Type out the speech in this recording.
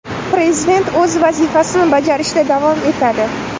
Prezident o‘z vazifasini bajarishda davom etadi.